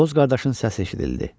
Boz qardaşın səsi eşidildi.